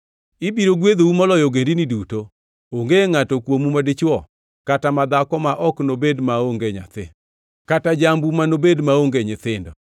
Ibiro gwedhou moloyo ogendini duto; onge ngʼato kuomu madichwo kata madhako ma ok nobed maonge nyathi, kata jambu manobed maonge nyithindo.